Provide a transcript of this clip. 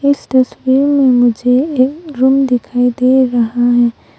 इस तस्वीर मे मुझे एक रुम दिखाई दे रहा है।